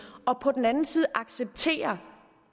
og på den anden side accepterer